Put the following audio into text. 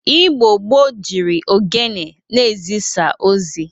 Igbo gboo jiri ogene na-ezisa ozi.